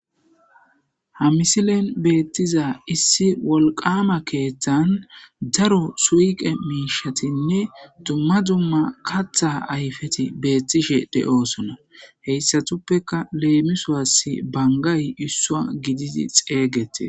Haa missilenni betiza issi Wolqamma keththanni daro suyiqqe mishshattinne dumma dumma kaththa ayifetti betishshe de'osonna.heyissatuppekka lemisuwassi banigayi issuwa gididi xeyigetees.